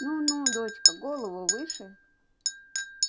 ну ну дочка голову выше